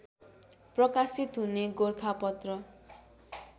प्रकाशित हुने गोरखापत्र